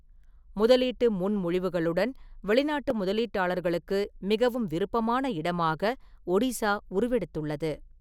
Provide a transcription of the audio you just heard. முதலீட்டு முன்மொழிவுகளுடன் வெளிநாட்டு முதலீட்டாளர்களுக்கு மிகவும் விருப்பமான இடமாக ஒடிசா உருவெடுத்துள்ளது.